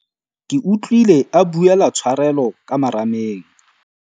Ke utlwile a buela tshwarelo ka marameng.